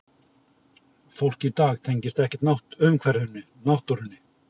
Fólk í dag tengist ekkert umhverfinu, náttúrunni.